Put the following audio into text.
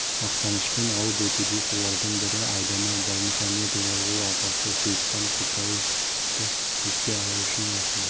мақтанышпен алып өтуде солардың бірі айдана баймұхамедова ол атасы сейітхан құлтаевты еске алу үшін осында